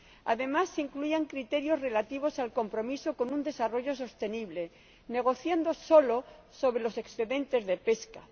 Además, se incluían criterios relativos al compromiso con un desarrollo sostenible, negociando solo sobre los excedentes de pesca